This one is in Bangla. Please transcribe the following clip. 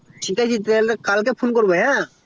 ঠিক আছে আমি তাহলে কালে phone করবো হ্যাঁ